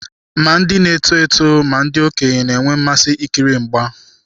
Ma ndị na-eto eto ma ndị okenye na-enwe mmasị ikiri mgba.